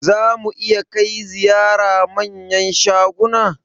Za mu iya kai ziyara manyan shaguna?